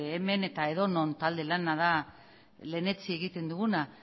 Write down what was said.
hemen eta edonon talde lana da lehen etsi egiten duguna